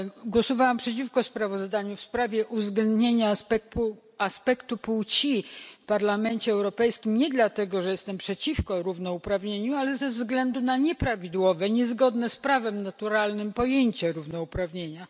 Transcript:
Głosowałam przeciwko sprawozdaniu w sprawie uwzględnienia aspektu płci w Parlamencie Europejskim nie dlatego, że jestem przeciwko równouprawnieniu, ale ze względu na nieprawidłowe, niezgodne z prawem naturalnym pojęcie równouprawnienia.